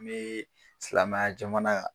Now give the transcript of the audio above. Bɛ silamɛya jamana kan.